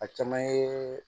A caman ye